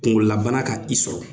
Kunkolo la bana ka i sɔrɔ